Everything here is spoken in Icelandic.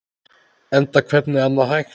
Enda hvernig annað hægt?